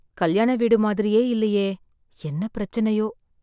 கல்யாண வீடு மாதிரியே இல்லயே... என்ன பிரச்சனையோ...